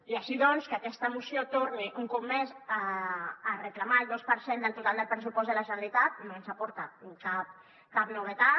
i així doncs que aquesta moció torni un cop més a reclamar el dos per cent del total del pressupost de la generalitat no ens aporta cap novetat